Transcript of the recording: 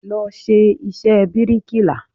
Lọ ṣe iṣẹ́ bíríkìlà!